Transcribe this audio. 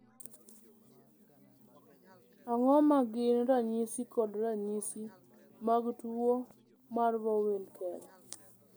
Ang'o ma gin ranyisi kod ranyisi mag tuwo mar Vohwinkel?